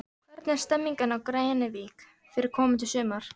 Hvernig er stemmingin á Grenivík fyrir komandi sumar?